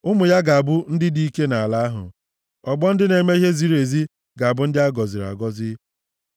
Ụmụ ya ga-abụ ndị dị ike nʼala ahụ; ọgbọ ndị na-eme ihe ziri ezi ga-abụ ndị a gọziri agọzi.